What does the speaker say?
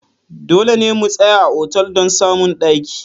Dole ne mu tsaya a otal don samun daki.